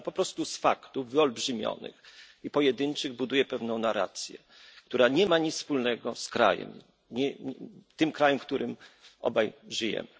Pan, po prostu, z faktów wyolbrzymionych i pojedynczych buduje pewną narrację, która nie ma nic wspólnego z tym krajem, w którym obaj żyjemy.